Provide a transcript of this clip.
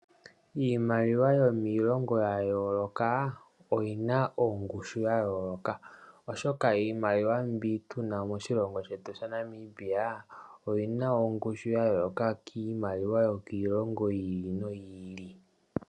Iimaliwa yomiilongo ya yooloka oyina oongushu ya yooloka, oshoka iimaliwa mbi tuna moshilongo shetu shaNamibia oyina ongushu ya yooloka kiimaliwa yo kiilongo yi ili noyi ili.